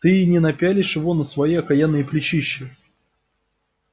ты и не напялишь его на свои окаянные плечища